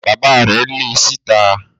Bàbá rẹ̀ le síta.